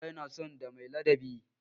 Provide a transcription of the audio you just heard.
Iyaye na son ɗa mai ladabi.